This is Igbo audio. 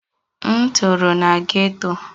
M toro na geto